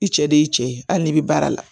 I cɛ de y'i cɛ ye hali n'i bɛ baara la